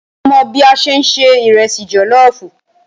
Ṣé o mọ̀ bí a ṣe ń se ìrẹsì jọ̀lọ́ọ̀fù?